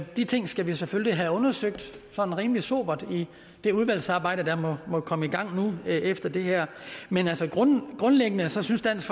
de ting skal vi selvfølgelig have undersøgt sådan rimelig sobert i det udvalgsarbejde der måtte komme i gang nu efter det her men altså grundlæggende synes dansk